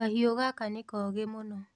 Kahiu gaka nĩkogĩ mũno.